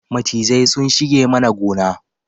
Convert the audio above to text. Macizai sun shige mana gona